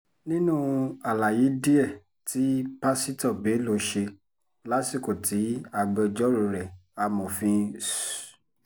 nínú àlàyé díẹ̀ tí pásítọ̀ bello ṣe lásìkò tí agbẹjọ́rò rẹ̀ amòfin s